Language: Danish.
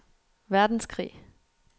verdenskrig